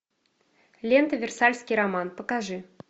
лента версальский роман покажи